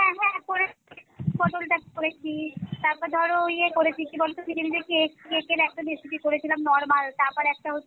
হ্যাঁ হ্যাঁ করেছি পটল করেছি তারপর ধরো ইয়ে করেছি কী বলে নিজে নিজে cake, cake এর একটা recipe করেছিলাম normal তারপর একটা হচ্ছে